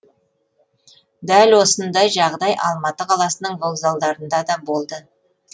дәл осындай жағдай алматы қаласының вокзалдарында да болды